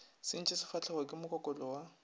sentše sefahlego ke mokokoto wa